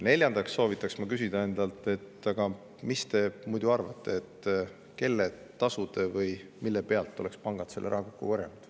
Neljandaks soovitaks ma teil küsida iseendalt, kelle tasude või mille pealt oleks pangad teie arvates selle raha kokku korjanud.